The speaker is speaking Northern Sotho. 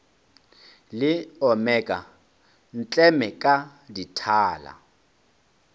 le omeka ntleme ka dithala